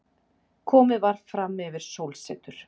Komið var frammyfir sólsetur.